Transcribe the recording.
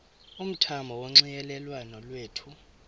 umthamo wonxielelwano lwethu